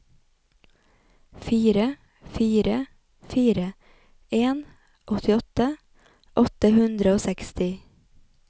fire fire fire en åttiåtte åtte hundre og seksti